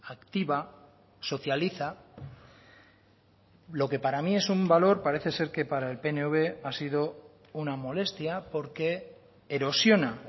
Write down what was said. activa socializa lo que para mí es un valor parece ser que para el pnv ha sido una molestia porque erosiona